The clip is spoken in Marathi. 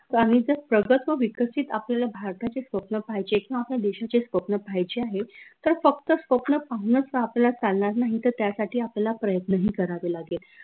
प्रगल्भ विकसित आपल्याला भारताचे स्वप्न पाहायचे आहे किंव्हा आपल्या देशाचे स्वप्न पाहायचे आहे तर फक्त स्वप्न पाहूनच तर आपल्याला चालनार नाही त त्यासाठी आपल्याला प्रयत्न ही करावे लागेल